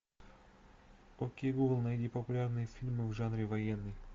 окей гугл найди популярные фильмы в жанре военный